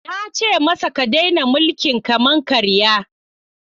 Na ce masa, ka daina mulkin kama-karya!